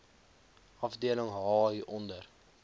afdeling h hieronder